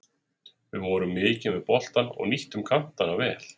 Við vorum mikið með boltann og nýttum kantana vel.